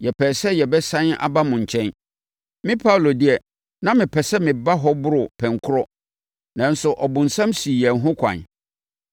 Yɛpɛɛ sɛ yɛbɛsane aba mo nkyɛn. Me Paulo deɛ, na mepɛ sɛ meba hɔ boro pɛnkorɔ nanso ɔbonsam sii yɛn ho ɛkwan.